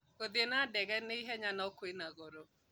Gũthiĩ na ndege nĩ ihenya no kwĩ na goro